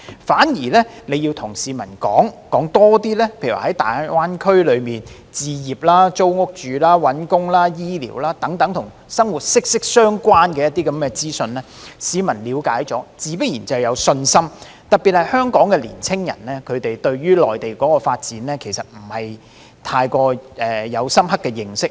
反而，政府要多告訴市民在大灣區置業、租屋、求職、醫療等與生活息息相關的資訊，市民了解後自然有信心，特別是香港年青人對於內地的發展其實並無深刻認識。